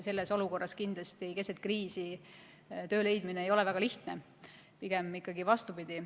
Selles olukorras, keset kriisi töö leidmine ei ole väga lihtne, pigem ikkagi vastupidi.